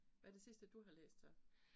Hvad det sidste du har læst så?